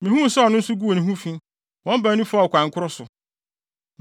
Mihuu sɛ ɔno nso guu ne ho fi, wɔn baanu faa ɔkwan koro so.